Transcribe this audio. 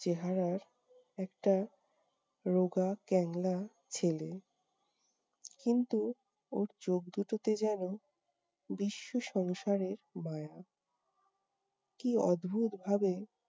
চেহারার একটা রোগা ক্যাঙলা ছেলে। কিন্তু ওর চোখ দু'টোতে যেন বিশ্ব সংসারের মায়া। কি অদ্ভুত ভাবে